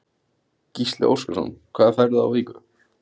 Gísli Óskarsson: Hvað færðu á viku?